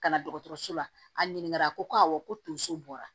Ka na dɔgɔtɔrɔso la a ɲininka a ko ko awɔ ko tonso bɔra